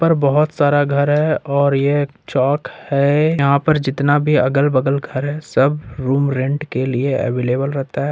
पर बहुत सारा घर है और ये एक चौक है यहां पर जितना भी अगल बगल घर है रूम रेंट के लिए अवेलेबल रहता है।